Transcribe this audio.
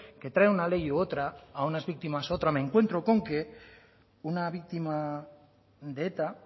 que trae una ley u otra a unas víctimas u otras me encuentro con que a una víctima de eta